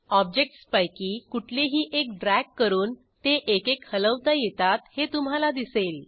ऑब्जेक्टसपैकी कुठलेही एक ड्रॅग करून ते एकेक हलवता येतात हे तुम्हाला दिसेल